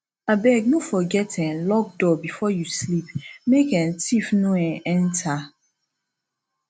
abeg no forget um lock door before you sleep make um thief no um enter